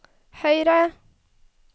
høyre